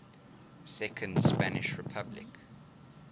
second spanish republic